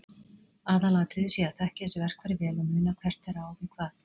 Aðalatriðið sé að þekkja þessi verkfæri vel og muna hvert þeirra á við hvað.